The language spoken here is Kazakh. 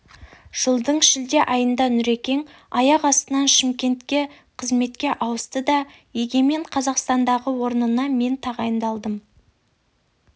жылдың шілде айында нүрекең аяқ астынан шымкентке қызметке ауысты да егемен қазақстандағы орнына мен тағайындалдым